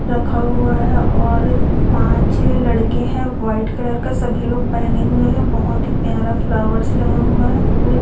रखा हुआ है और पांच लड़के हैं व्हाइट कलर का सभी लोग पहने हुए हैं बहोत ही प्यारा फ्लावर्स लगा हुआ है फुल--